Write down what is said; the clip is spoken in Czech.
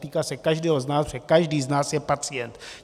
Týká se každého z nás, protože každý z nás je pacient.